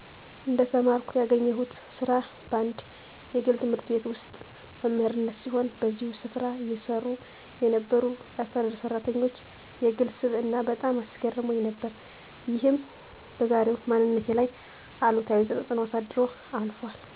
እንደተመረኩ ያገኘውሁት ስራ በአንድ የግል ት/ቤት ውስጥ መምህርነት ሲሆን በዚሁ ስፍራ ይሰሩ የነበሩ የአስተዳደር ሠራተኞች የግል ስብዕና በጣም አስገርሞኝ ነበር። ይህም በዛሬው ማንነቴ ላይ አሉታዊ ተፅእኖ አሳድሮ አልፏል።